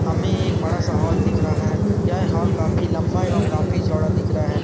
हमें एक बड़ा सा हॉल दिख रहा है यह हॉल काफी लंबा एवं काफी चोड़ा दिख रहा है ।